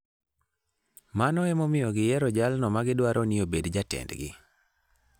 Mano emomiyo giyiero jalno ma gidwaro ni obed jatendgi.